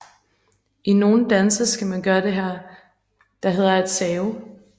I nogle danse skal man gøre det der hedder at save